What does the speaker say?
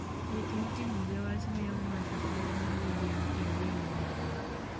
Wuoth mitimo gi bas miyo ng'ato thuolo mar yueyo kendo yueyo maber.